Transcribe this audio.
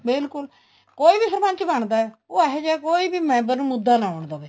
ਬਿਲਕੁਲ ਕੋਈ ਵੀ ਸਰਪੰਚ ਬਣਦਾ ਹੈ ਉਹ ਅਹਿਜਾ ਕੋਈ ਵੀ member ਮੁੱਦਾ ਨਾ ਆਉਣ ਦਵੇ